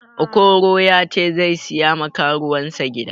Okoro ya ce sai siya ma karuwansa gida